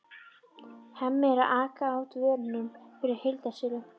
Hemmi er að aka út vörum fyrir heildsöluna.